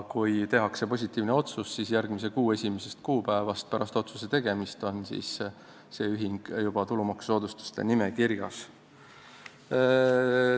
Kui tehakse positiivne otsus, siis järgmise kuu esimesest kuupäevast pärast otsuse tegemist on see ühing juba tulumaksusoodustuse saajate nimekirjas.